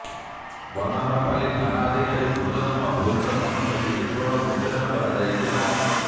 ବନହରପାଲି ଥାନାଧିକାରୀ ପୁରୁଷୋତ୍ତମ ଭୋଇଙ୍କ ସମେତ ପୁଲିସ ବଳ ମୁତୟନ କରାଯାଇଥିଲା